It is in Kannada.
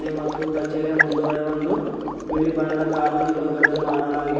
ಮತ್ತು ಕಚೇರಿಯ ಮುಂದುಗಡೆ ಒಂದು ಬಿಳಿ ಬಣ್ಣದ ಕಾರು ನಿಲುಗಡೆ ಮಾಡಲಾಗಿ--